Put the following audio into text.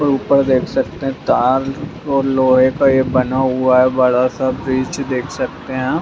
ऊपर देख सकते हैं तार और लौहे का ये बना हुआ है | बड़ा सा ब्रीच देख सकते हैं ।